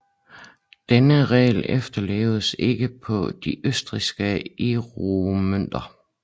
Denne regel efterleves ikke på de østrigske euromønter